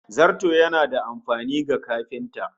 Zarto yana da amfani ga kafinta